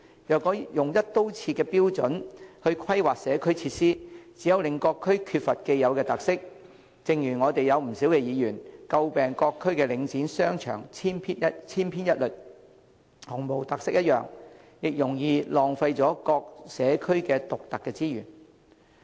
如果用"一刀切"的標準來規劃社區設施，只會令各區缺乏既有特色，正如不少議員詬病各區的領展商場千篇一律，毫無特色一樣，亦容易浪費了各社區獨特的資源。